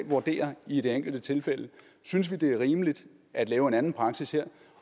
vurderer i det enkelte tilfælde synes vi det er rimeligt at lave en anden praksis her